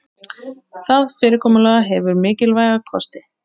Það fyrirkomulag hefur mikilvæga kosti